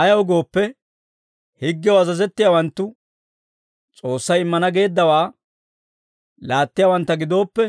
Ayaw gooppe, higgew azazettiyaawanttu S'oossay immana geeddawaa laattiyaawantta gidooppe,